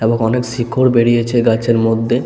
এবং অনেক শিকড় বেরিয়েছে গাছের মধ্যে।